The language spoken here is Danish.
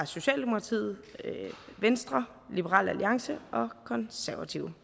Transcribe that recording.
socialdemokratiet venstre liberal alliance og konservative